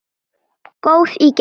Góð í gegn.